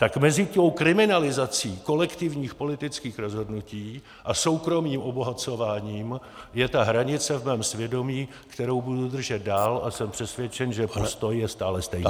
Tak mezi tou kriminalizací kolektivních politických rozhodnutí a soukromým obohacováním je ta hranice v mém svědomí, kterou budu držet dál, a jsem přesvědčen , že postoj je stále stejný.